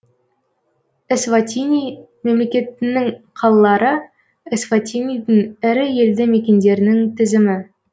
эсватини мемлекетінің қалалары эсватинидің ірі елді мекендерінің тізімі